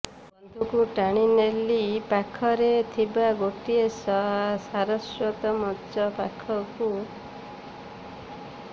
ବନ୍ଧୁଙ୍କୁ ଟାଣି ନେଲି ପାଖରେ ଥିବା ଗୋଟିଏ ସାରସ୍ୱତ ମଞ୍ଚ ପାଖକୁ